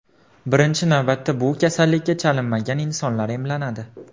Birinchi navbatda bu kasallikka chalinmagan insonlar emlanadi.